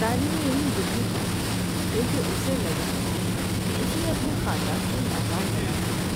طالب علم دکھی تھا کیونکہ اسے لگا کہ اس نے اپنے خاندان کو ناکام بنا دیا ہے۔